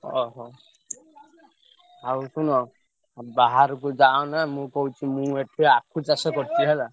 ଓହୋ, ଆଉ ଶୁଣ ଆଉ ବାହାରକୁ ଯାଅନା ମୁଁ କହୁଛି ମୁଁ ଏଠି ଆଖୁ ଚାଷ କରିଛି ହେଲା।